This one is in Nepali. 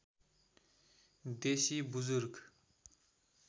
देशी बुज्रुक